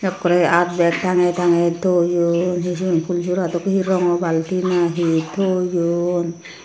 ekkore aat bag tangey tangey thoyun he sigun phool sora dokki he rongo bulti nahi thoyun.